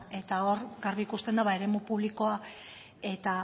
eta hor garbi ikusten da ba eremu publikoa eta